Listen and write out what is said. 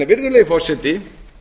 virðulegi forseti